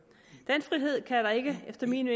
den frihed kan der ikke efter min